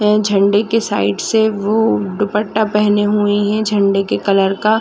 अअ झंडे के साइड से वो दुप्पटा पेहने हुई है झंडे के कलर का--